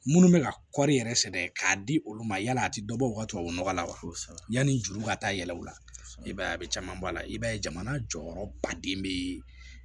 Minnu bɛ ka kɔɔri yɛrɛ sɛgɛn k'a di olu ma yala a tɛ dɔ bɔ u ka tubabu nɔgɔ la wa yani juru ka taa yɛlɛ u la i b'a ye a bɛ caman bɔ a la i b'a ye jamana jɔyɔrɔ baden bɛ